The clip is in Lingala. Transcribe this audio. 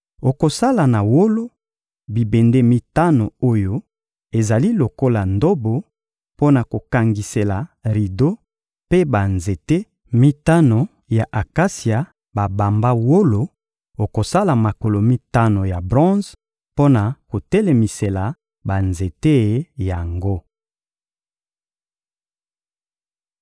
Okosala na wolo, bibende mitano oyo ezali lokola ndobo mpo na kokangisela rido mpe banzete mitano ya akasia babamba wolo; okosala makolo mitano ya bronze mpo na kotelemisela banzete yango.